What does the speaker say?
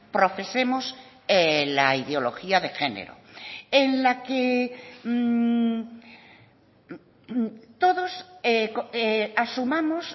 profesemos la ideología de género en la que todos asumamos